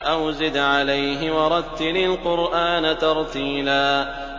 أَوْ زِدْ عَلَيْهِ وَرَتِّلِ الْقُرْآنَ تَرْتِيلًا